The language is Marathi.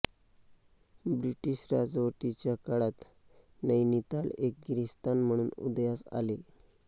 ब्रिटिश राजवटीच्या काळात नैनिताल एक गिरीस्थान म्हणून उदयास आले